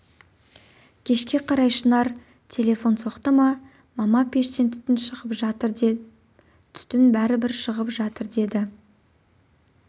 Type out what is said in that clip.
кешке қарай шынар телефон соқты мама пештен түтін шығып жатыр деп түтін бәрібір шығып жатыр деді